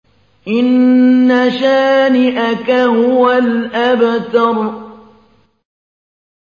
إِنَّ شَانِئَكَ هُوَ الْأَبْتَرُ